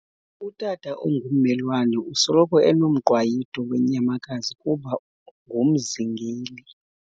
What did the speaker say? Utata ongummelwane usoloko enomqwayito weenyamakazi kuba ngumzingeli.